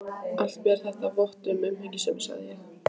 Allt ber þetta vott um umhyggjusemi, sagði ég.